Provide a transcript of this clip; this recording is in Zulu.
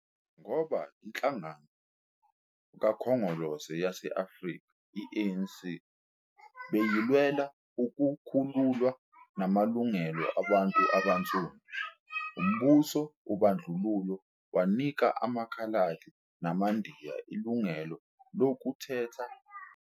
Ngoba iHlangano Khongolose yase-Afrika, i-ANC, bewulwela ukukhululwa namalungelo wabantu abansundu, umbuso wobandlululo wanika amaKhaladi namaNdiya ilungelo lokukhetha abameli babo ePhalamende kaNdluntathu.